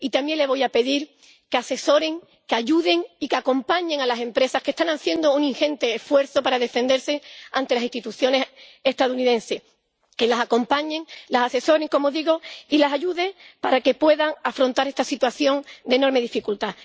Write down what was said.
Y también le voy a pedir que asesoren, que ayuden y que acompañen a las empresas, que están haciendo un ingente esfuerzo para defenderse ante las instituciones estadounidenses que las acompañen, las asesoren —como digo— y las ayuden para que puedan afrontar esta situación de enorme dificultad.